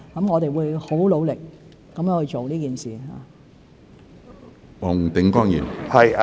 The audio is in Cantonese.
我們會很努力做這件事。